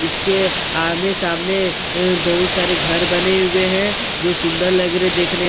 इसके अ आमने-सामने अ बहुत सारे घर बने हुए हैं जो सुंदर लग रहे देखने--